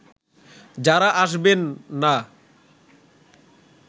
যারা আসবেন না